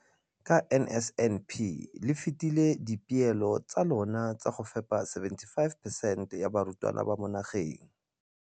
Ka NSNP le fetile dipeelo tsa lona tsa go fepa masome a supa le botlhano a diperesente ya barutwana ba mo nageng.